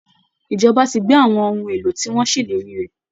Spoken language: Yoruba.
Ìjọba ti gbé àwọn ohun èlò tí wọ́n ṣèlérí rẹ̀